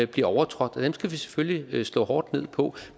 bliver overtrådt og dem skal vi selvfølgelig slå hårdt ned på